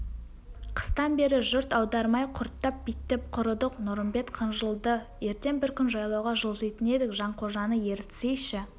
қыстан бері жұрт аудармай құрттап-биттеп құрыдық нұрымбет қынжылды ертең бір күн жайлауға жылжитын едік жанқожаны ерітсейші